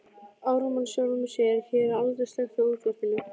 Ármann sjálfum sér,- hér er aldrei slökkt á útvarpinu.